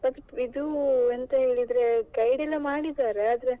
ಇದು ಎಂತ ಹೇಳಿದ್ರೆ guide ಎಲ್ಲಾ ಮಾಡಿದ್ದಾರೆ.